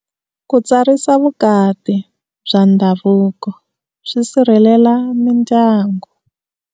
Ku tsarisa vukati bya ndhavuko swi sirhelela mindyangu.